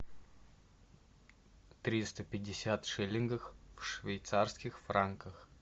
триста пятьдесят шиллингов в швейцарских франках